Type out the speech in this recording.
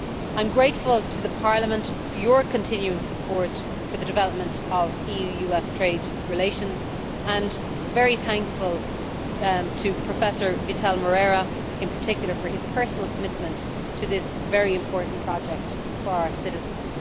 I am grateful to Parliament for your continuing support for the development of EU US Trade relations, and very thankful to Professor Vital Moreira in particular for his personal commitment to this very important project for our citizens.